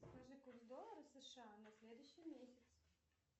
скажи курс доллара сша на следующий месяц